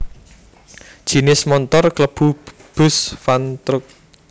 Jinis montor klebu bus van truk